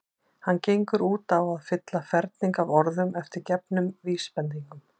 Hann gengur út á að fylla ferning af orðum eftir gefnum vísbendingum.